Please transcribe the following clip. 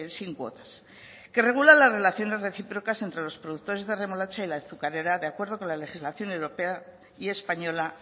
sin cuotas que regulan las relaciones recíprocas entre los productores de remolacha y la azucarera de acuerdo con la legislación europea y española